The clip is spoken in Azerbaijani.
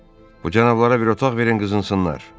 Bu cənablara bir otaq verin, qızılsınlar.